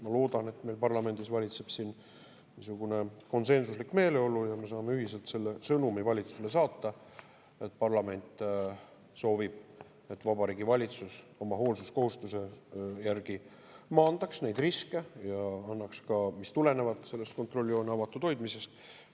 Ma loodan, et meil parlamendis valitseb konsensuslik meeleolu ja me saame ühiselt valitsusele saata selle sõnumi: parlament soovib, et Vabariigi Valitsus oma hoolsuskohustuse järgi maandaks neid riske, mis tulenevad kontrolljoone avatud hoidmisest.